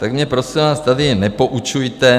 Tak mě, prosím vás, tady nepoučujte!